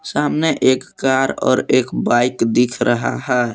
सामने एक कार और एक बाइक दिख रहा है।